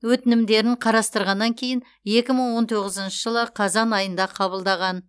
өтінімдерін қарастырғаннан кейін екі мың он тоғызыншы жылы қазан айында қабылдаған